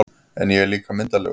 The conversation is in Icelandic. En ég er líka myndarlegur